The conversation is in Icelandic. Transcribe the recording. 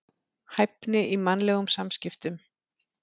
Hæfni í mannlegum samskiptum.